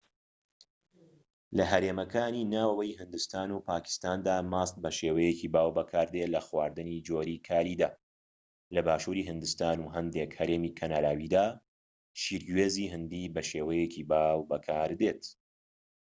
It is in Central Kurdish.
لە هەرێمەکانی ناوەوەی هیندستان و پاکیستاندا ماست بە شێوەیەکی باو بەکاردێت لە خواردنی جۆری کاریدا لە باشووری هیندستان و هەندێك هەرێمی کەناراویدا شیری گوێز هیندی بە شێوەیەکی باو بەکاردێت